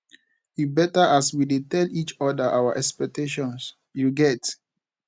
e beta as we dey tell each oda our expectations you get